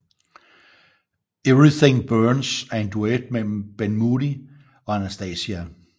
Everything Burns er en duet mellem Ben Moody og Anastacia